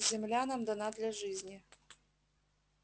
земля нам дана для жизни